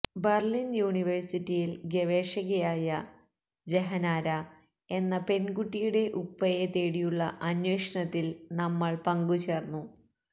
Berlin യുണിവേഴ്സിറ്റിയിൽ ഗവേഷകയായ ജഹനാര എന്ന പെൺകുട്ടിയുടെ ഉപ്പയെ തേടിയുള്ള അന്വേഷണത്തിൽ നമ്മൾ പങ്കുചേരുന്നു